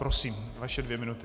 Prosím, vaše dvě minuty.